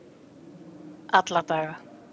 alla daga